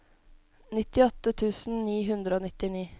nittiåtte tusen ni hundre og nittini